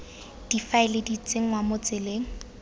difaele di tsenngwa mo tseleng